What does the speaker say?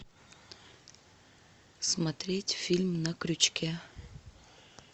смотреть фильм на крючке